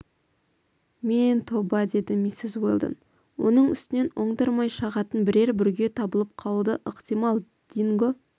мен тоба деді миссис уэлдон оның үстінен оңдырмай шағатын бірер бүрге табылып қалуы да ықтимал динго